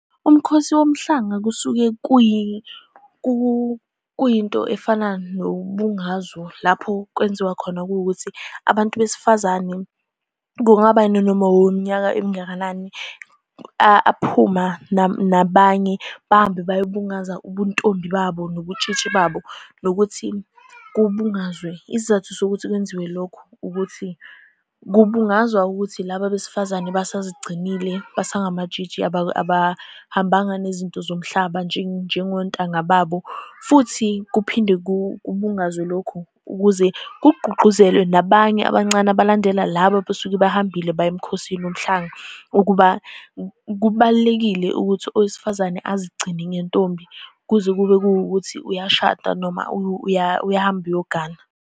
Umkhosi womhlanga kusuke kuyinto efana nombungazo lapho kwenziwa khona, kuwukuthi abantu besifazane, kungaba yinoma weminyaka emingakanani, aphuma nabanye bahambe bayobungaza ubuntombi babo nobutshitshi babo, nokuthi kubungazwe. Isizathu sokuthi kwenziwe lokho ukuthi kubungazwa ukuthi laba abesifazane basazigcinile, basangamatshitshi. Abahambanga nezinto zomhlaba njengontanga babo. Futhi kuphinde kubungazwe lokho ukuze kugqugquzelwe nabanye abancane abalandela laba abasuke bahambile baye emkhosini womhlanga, ukuba kubalulekile ukuthi owesifazane azigcine ngentombi kuze kube kuwukuthi uyashada noma uyahamba uyogana.